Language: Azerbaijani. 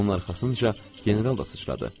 Onun arxasınca general da sıçradı.